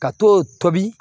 Ka to tobi